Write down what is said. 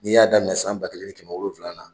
N'i y'a daminɛ san ba kelen ni kɛmɛ wolonfila la